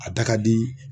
A da ka di